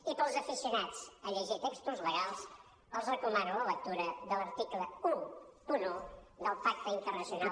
i per als aficionats a llegir textos legals els recomano la lectura de l’article onze del pacte in·ternacional